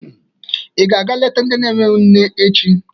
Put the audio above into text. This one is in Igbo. Ị ga-aga leta ndị enweghi nne echi.